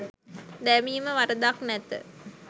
දැමීම වරදක් නැත